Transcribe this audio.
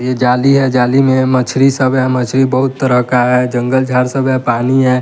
ये जाली है जाली में मछरी सब है मछरी बहुत तरह का है जंगल झाड़ सब है पानी है।